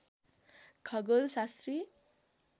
खगोल शास्त्री